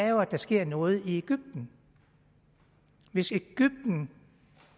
jo at der sker noget i egypten hvis egypten